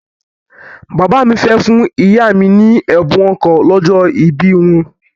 Bàbá mi fẹ́ fún ìyá mi ní ẹ̀bùn ọkọ̀ lọ́jọ́ ìbí wọn.